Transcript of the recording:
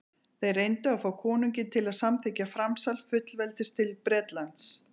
þeir reyndu að fá konunginn til að samþykkja framsal fullveldis til bretlands